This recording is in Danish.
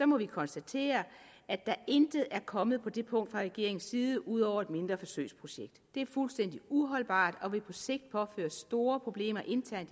må vi konstatere at der intet er kommet på det punkt fra regeringens side ud over et mindre forsøgsprojekt det er fuldstændig uholdbart og vil på sigt påføre fængslerne store problemer internt